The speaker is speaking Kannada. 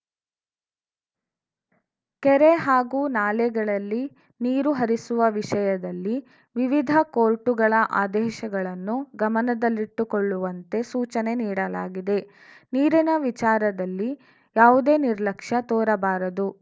ಕೆರೆ ಹಾಗೂ ನಾಲೆಗಳಲ್ಲಿ ನೀರು ಹರಿಸುವ ವಿಷಯದಲ್ಲಿ ವಿವಿಧ ಕೋರ್ಟುಗಳ ಆದೇಶಗಳನ್ನು ಗಮನದಲ್ಲಿಟ್ಟುಕೊಳ್ಳುವಂತೆ ಸೂಚನೆ ನೀಡಲಾಗಿದೆ ನೀರಿನ ವಿಚಾರದಲ್ಲಿ ಯಾವುದೇ ನಿರ್ಲಕ್ಷ್ಯ ತೋರಬಾರದು